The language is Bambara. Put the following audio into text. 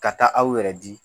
Ka taa aw yɛrɛ di